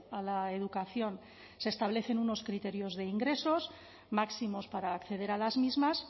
a la educación se establecen unos criterios de ingresos máximos para acceder a las mismas